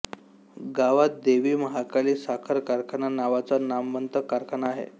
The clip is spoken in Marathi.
गावात देवी महाकाली साखर कारखाना नावाचा नामवंत कारखाना आहे